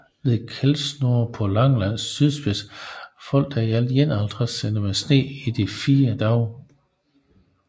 Ved Keldsnor på Langelands sydspids faldt der i alt 51 cm sne i de fire dage